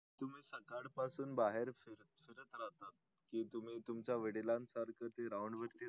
तुम्ही सकाळ पासून बाहेर फिरतात कि तुम्ही वडिलांसारखं ते round बिऊन्ड